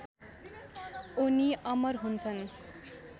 उनी अमर हुन्छन्